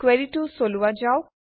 কুৱেৰিটো চলোৱা যাওক